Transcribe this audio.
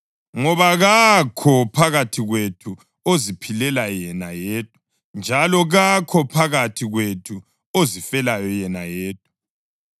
Ngoba kakho phakathi kwethu oziphilela yena yedwa njalo kakho phakathi kwethu ozifelayo yena yedwa.